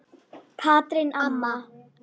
Katrín amma.